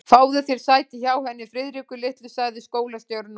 Fáðu þér sæti hjá henni Friðriku litlu sagði skólastjórinn og benti